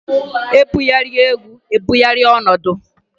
E bugharịa egwu e bugharịa ọnọdụ.